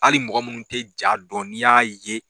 Hali mɔgɔ munnu tɛ ja dɔn, n'i ya ye